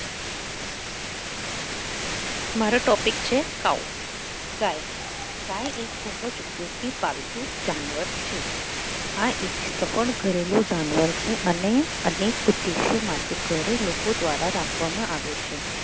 મારો topic છે cow ગાય ગાય એક ખૂબ જ ઉપયોગી પાલતુ જાનવર છે આ એક થી જાનવર છે અને અનેક ઉદ્દેશ્ય માટે ઘરે લોકો દ્વારા રાખવામાં આવે છે.